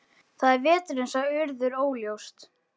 Það er veturinn sagði Urður óljóst.